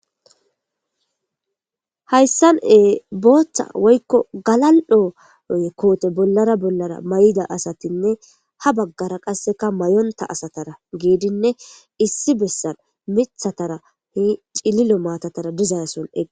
hayssan ee booththa woykko galal'o koote bollara bollara may'ida asatinne ha baggara qasseka mayonta asatara geedinne issi bessan mithatara hi cililo maatatara dizayassonega